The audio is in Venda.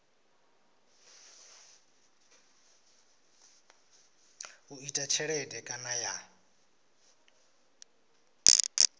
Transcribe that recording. u ita tshelede kana ya